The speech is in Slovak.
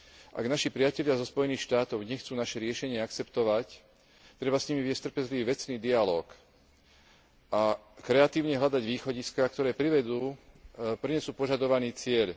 Ak naši priatelia zo Spojených štátov nechcú naše riešenie akceptovať, treba s nimi viesť trpezlivý vecný dialóg a kreatívne hľadať východiská, ktoré prinesú požadovaný cieľ.